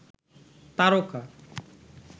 তারকা